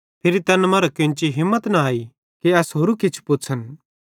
फिरी तैन मरां केन्ची हिम्मत न अई कि एस होरू किछ पुछ़न